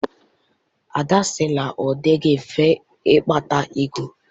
Ada sị na ọ dịghị mfe ịkpata ego.